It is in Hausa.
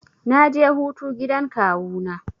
Na je hutu gidan kawu na.